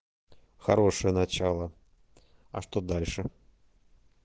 хорошее начало а что дальше